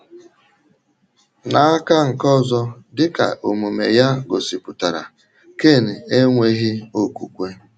N’aka nke ọzọ, dị ka omume ya gosipụtara, Ken enweghị okwukwe.